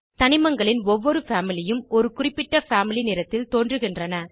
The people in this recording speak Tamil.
தனிமங்களின் ஒவ்வொரு பாமிலி உம் ஒரு குறிப்பிட்ட பாமிலி நிறத்தில் தோன்றுகின்றன